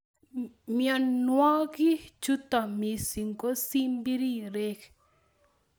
Mnyonwogi chuto missing ko simbirirek